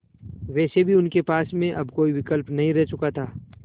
वैसे भी उनके पास में अब कोई भी विकल्प नहीं रह चुका था